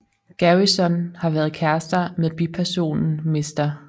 Garrison har været kærester med bipersonen Mr